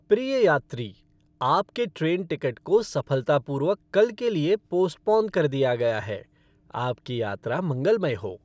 प्रिय यात्री, आपके ट्रेन टिकट को सफलतापूर्वक कल के लिए पोस्पोन कर दिया गया है। आपकी यात्रा मंगलमय हो!